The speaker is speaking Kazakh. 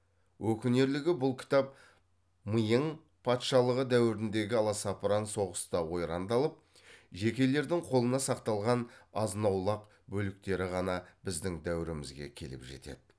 өкінерлігі бұл кітап миың патшалығы дәуіріндегі аласапыран соғыста ойрандалып жекелердің қолына сақталған азнаулақ бөліктері ғана біздің дәуірімізге келіп жетеді